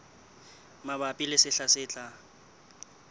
mabapi le sehla se tlang